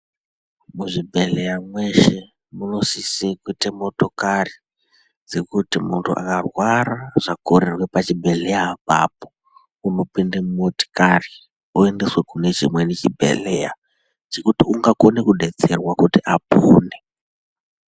Muzvibhedhleya mweshe munosise kuite motokari zvekuti muntu akarwara zvakorerwe pachibhedhleya apapo unopinde mumotikari oendeswe mune chimweni chibhedhleya chekuti ungakone kudetserwe kuti apone.